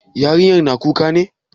Yarinyar na kuka ne?